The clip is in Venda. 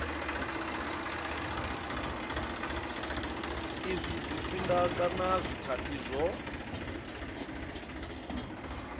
izwi zwifhinga kana zwikhathi zwo